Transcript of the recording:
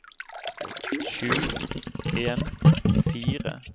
sju en fire åtte førtiseks ni hundre og ti